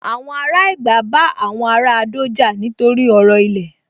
Àwọn ará Ẹ̀gbá bá àwọn ará Adó jà nítorí ọ̀rọ̀ ilẹ̀